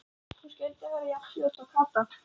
Hún skyldi verða jafn fljót og Kata!